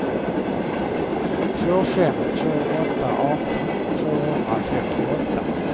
två fem två åtta arton tvåhundrafemtioåtta